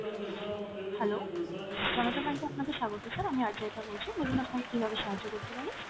hello, Janata bank এ আপনাকে স্বাগত sir আমি আরজায়তা বলছি , বলুন আপনাকে কীভাবে সাহায্য করতে পারি?